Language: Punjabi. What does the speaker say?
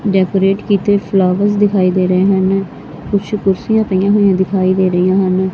ਡੈਕੋਰੇਟ ਕੀਤੇ ਫਲਾਵਰ ਦਿਖਾਈ ਦੇ ਰਹੇ ਹਨ ਕੁਛ ਕੁਰਸੀਆਂ ਪਈਆਂ ਹੋਈਆਂ ਦਿਖਾਈ ਦੇ ਰਹੀਆਂ ਹਨ।